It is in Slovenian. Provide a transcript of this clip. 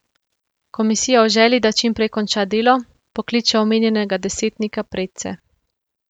Komisija v želji, da čim prej konča delo, pokliče omenjenega desetnika predse.